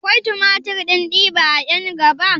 Akwai tumatir ɗin diba a ƴankaba?